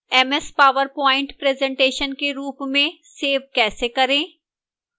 ms powerpoint presentation के रूप में सेव कैसे करें और